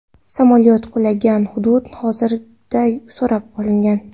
Samolyot qulagan hudud hozirda o‘rab olingan.